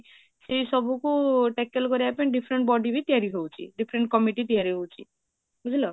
ସେ ସବୁକୁ tackle କରିବା ପାଇଁ different body ବି ତିଆରି ହାଉଛି different committee ବି ତିଆରି ହାଉଛି, ବୁଝିଲ?